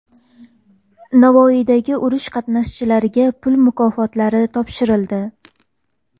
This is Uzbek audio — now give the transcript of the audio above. Navoiyda urush qatnashchilariga pul mukofotlari topshirildi.